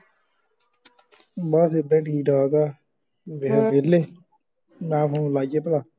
ਬਸ ਏਦਾਂ ਈ ਠੀਕ ਠਾਕ ਆ ਵੇਹਲੇ ਮੇਹਾ ਫੋਨ ਲਾਇਏ ਭਲਾ